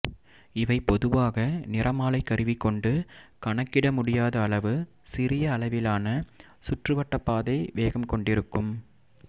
இவை பொதுவாக நிறமாலைக் கருவி கொண்டு கணக்கிட முடியாத அளவு சிறிய அளவிலான சுற்றுவட்டப்பாதை வேகம் கொண்டிருக்கும்